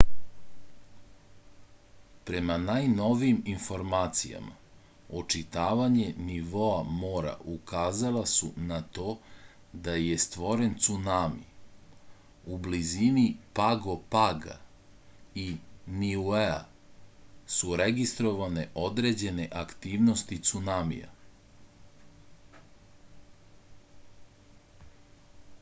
prema najnovijim informacijama očitavanja nivoa mora ukazala su na to da je stvoren cunami u blizini pago paga i niuea su registrovane određene aktivnosti cunamija